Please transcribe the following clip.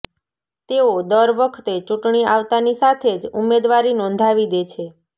તેઓ દર વખતે ચૂંટણી આવતાની સાથે જ ઉમેદવારી નોંધાવી દે છે